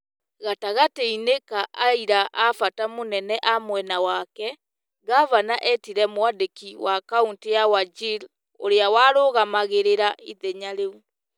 Gagatĩ-inĩ ka aira a bata mũnene a mwena wake, Ngavana etire mwandĩki wa kauntĩ ya Wajir ũria warũgamagĩrĩra ithenya rĩu,